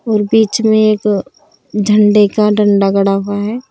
बीच में एक झंडे का डंडा खड़ा हुआ है।